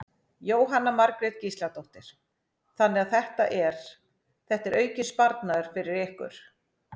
Jóhanna Margrét Gísladóttir: Þannig að þetta er, þetta er aukinn sparnaður fyrir ykkur?